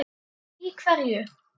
En í hverju?